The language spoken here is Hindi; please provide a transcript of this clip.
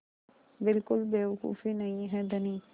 बिल्कुल बेवकूफ़ी नहीं है धनी